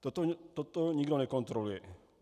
Toto nikdo nekontroluje.